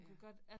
Ja